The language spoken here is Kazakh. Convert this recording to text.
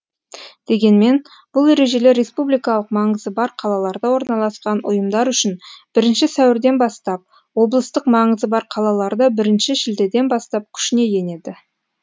дегенмен бұл ережелер республикалық маңызы бар қалаларда орналасқан ұйымдар үшін бірінші сәуірден бастап облыстық маңызы бар қалаларда бірінші шілдеден бастап күшіне енеді